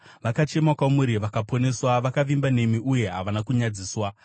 Vakachema kwamuri, vakaponeswa; vakavimba nemi uye havana kunyadziswa.